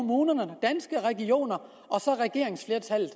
er regioner og regeringsflertallet